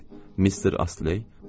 Mister Astley, Polina?